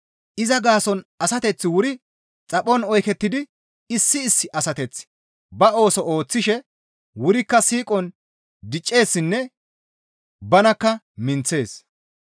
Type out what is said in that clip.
Iza gaason asateththi wuri xaphon oykettidi issi issi asateththi ba ooso ooththishe wurikka siiqon dicceessinne banakka minththees.